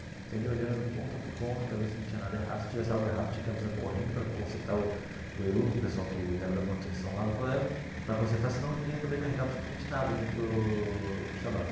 Então ele olhando ponta por ponta para ver se não tinha nada errado, se tivesse algo errado tinha que avisar correndo para consertar o o eruv, o pessoal que era da manutenção lá do colégio, para consertar senão ninguém ia poder carregar absolutamente nada no no Shabbat.